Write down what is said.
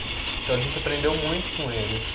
Então, a gente aprendeu muito com eles.